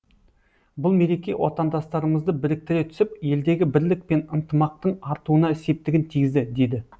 бұл мереке отандастарымызды біріктіре түсіп елдегі бірлік пен ынтымақтың артуына септігін тигізді деді